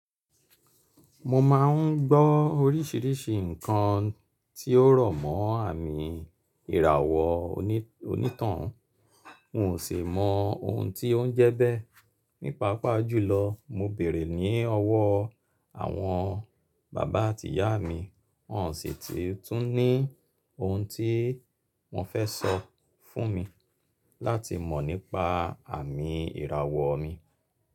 Mo máa ń gbọ́ oríṣìíríṣìí ǹkan tí ó rọ̀ mọ́ àmì ìràwọ̀ onítàn hún, n o si mo oun ti o n je bee. Nípa pàápaa jùlọ, mo béèrè ní ọwọ́ àwọn bàbá àti ìyá mi, wọ́n sì ti tún ní ohun tí wọ́n fẹ́ sọ fún mi láti mọ̀ nípa àmì ìràwọ̀ mi.